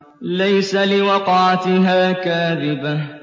لَيْسَ لِوَقْعَتِهَا كَاذِبَةٌ